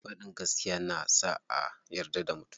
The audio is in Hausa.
Faɗin gaskiya na sa a yarda da mutum.